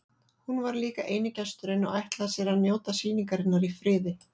Hún var líka eini gesturinn og ætlaði sér að njóta sýningarinnar í friði.